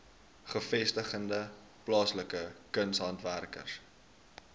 gevestigde plaaslike kunshandwerkers